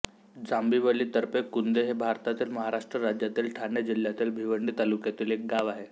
जांभिवली तर्फे कुंदे हे भारतातील महाराष्ट्र राज्यातील ठाणे जिल्ह्यातील भिवंडी तालुक्यातील एक गाव आहे